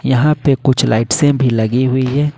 यहां पे कुछ लाइट से भी लगी हुई है।